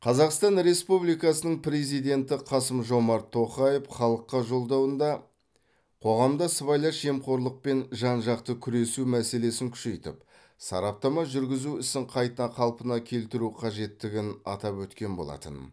қазақсатан республикасының президенті қасым жомарт тоқаев халыққа жолдауында қоғамда сыбайлас жемқорлықпен жан жақты күресу мәселесін күшейтіп сараптама жүргізу ісін қайта қалпына келтіру қажеттігін атап өткен болатын